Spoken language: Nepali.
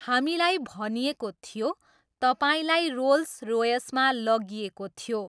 हामीलाई भनिएको थियो, तपाईँलाई रोल्स रोयसमा लागिएको थियो।